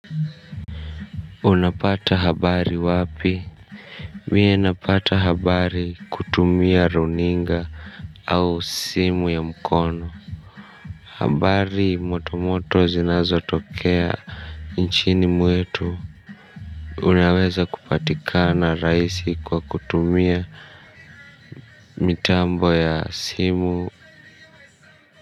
Unapata habari wapi. Mie napata habari kutumia runinga au simu ya mkono. Habari motomoto zinazotokea nchini mwetu. Unaweza kupatikana rahisi kwa kutumia mitambo ya simu.